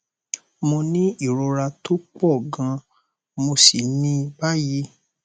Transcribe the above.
mo ni ìrora tó pọ gan mo sì ní i báyìí